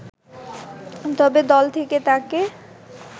তবে দল থেকে তাকে